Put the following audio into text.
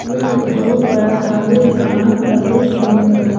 यह एक बहुत बड़ा खाली स्थान का दृश्य है।